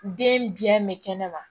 Den biɲɛ mɛ kɛnɛma